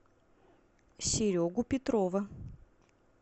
серегу петрова